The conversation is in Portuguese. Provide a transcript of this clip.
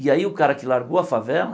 E aí o cara que largou a favela,